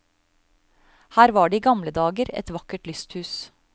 Her var det i gamle dager et vakkert lysthus.